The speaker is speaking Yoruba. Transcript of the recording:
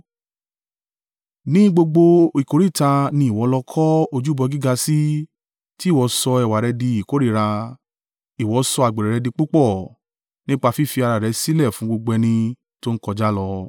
Ní gbogbo ìkóríta ni ìwọ lọ kọ ojúbọ gíga sí, tí ìwọ sọ ẹwà rẹ di ìkórìíra, ìwọ sọ àgbèrè rẹ di púpọ̀ nípa fífi ara rẹ sílẹ̀ fún gbogbo ẹni tó ń kọjá lọ.